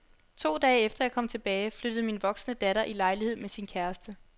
To dage efter jeg kom tilbage, flyttede min voksne datter i lejlighed med sin kæreste.